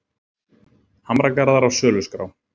Hamragarðar á söluskrá